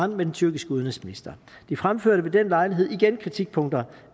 med den tyrkiske udenrigsminister de fremførte ved den lejlighed igen kritikpunkter